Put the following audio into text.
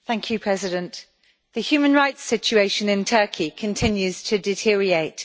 Mr President, the human rights situation in Turkey continues to deteriorate.